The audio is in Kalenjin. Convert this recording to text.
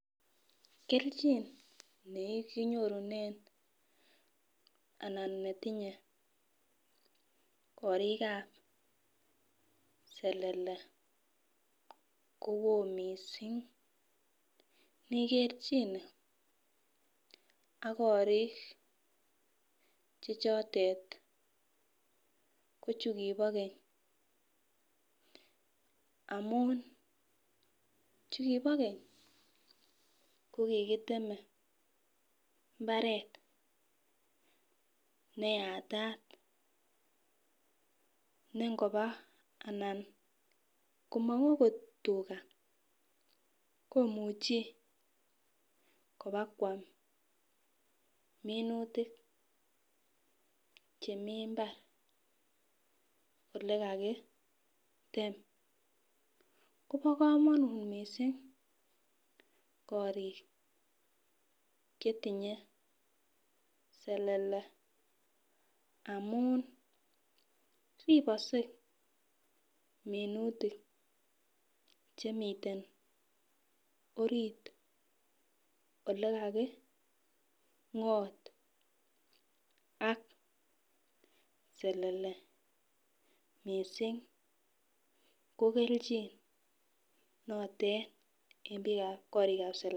Keljin nekinyorunen ana netinye korikab selele nikerchine ak korik chotet ko chukibo Keny ko kikiteme imbaret neyata nengoba ana nkomong okot tugaa komuchi kobakwam minutik chemii imbar ole kakitem Kobo komonut missing korib chetinye selele amun ripokse minutik chemiten oret ole kakingot ak selele missing ko keljin notet en bikab korikab selele.